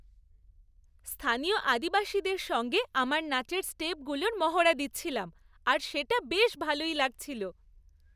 স্থানীয় আদিবাসীদের সঙ্গে আমার নাচের স্টেপগুলোর মহড়া দিচ্ছিলাম আর সেটা বেশ ভালোই লাগছিল।